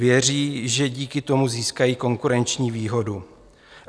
Věří, že díky tomu získají konkurenční výhodu.